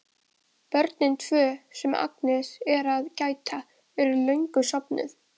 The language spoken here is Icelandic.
Börnin tvö, sem Agnes er að gæta, eru löngu sofnuð.